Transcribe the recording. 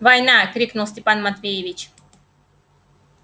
война крикнул степан матвеевич